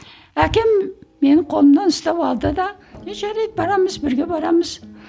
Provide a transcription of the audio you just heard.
әкем менің қолымнан ұстап алды да ну жарайды барамыз бірге барамыз